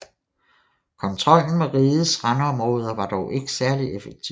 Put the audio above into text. Kontrollen med rigets randområder var dog ikke særlig effektiv